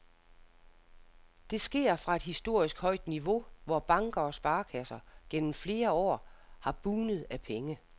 Det sker fra et historisk højt niveau, hvor banker og sparekasser gennem flere år har bugnet af penge.